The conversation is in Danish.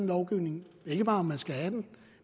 lovgivning ikke bare om man skal have den